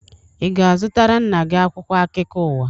Ị ga-azutara nna gi akwụkwo akụko ụwa?